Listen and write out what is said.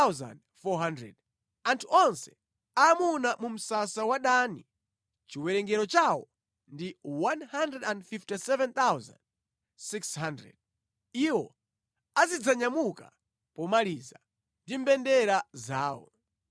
Anthu onse aamuna mu msasa wa Dani chiwerengero chawo ndi 157,600. Iwo azidzanyamuka pomaliza, ndi mbendera zawo.